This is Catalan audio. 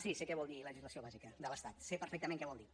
sí sé què vol dir legislació bàsica de l’estat sé perfectament què vol dir